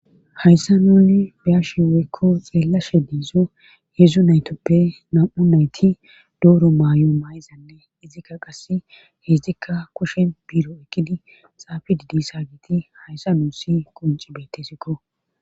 Hayssan nuni be'ashi woykko xelashe dizo hedzu naytape nam'u nayti dooro maay7o maayizanne izikka qasse hezdikka kushen biro ekkidi xaafi diza giiti hayssa nuussi kunci beettesikko